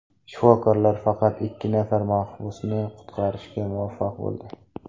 Shifokorlar faqat ikki nafar mahbusni qutqarishga muvaffaq bo‘ldi.